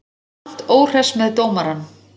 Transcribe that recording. Grant óhress með dómarann